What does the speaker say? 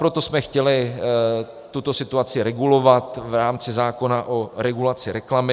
Proto jsme chtěli tuto situaci regulovat v rámci zákona o regulaci reklamy.